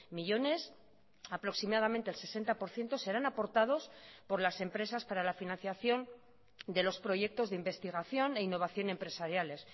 millónes aproximadamente el sesenta por ciento serán aportados por las empresas para la financiación de los proyectos de investigación e innovación empresariales